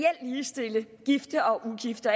ligestille gifte og ugifte